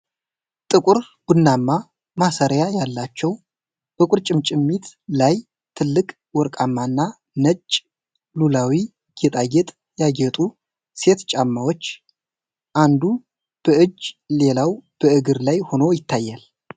ጥቁር ቡናማ ማሰሪያ ያላቸው፣ በቁርጭምጭሚት ላይ ትልቅ ወርቃማ እና ነጭ ሉላዊ ጌጣጌጥ ያጌጡ ሴት ጫማዎች፣ አንዱ በእጅ ሌላው በእግር ላይ ሆኖ ይታያል።